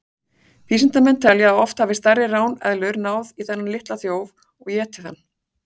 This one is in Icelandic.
Vísindamenn telja að oft hafi stærri ráneðlur náð í þennan litla þjóf og étið hann.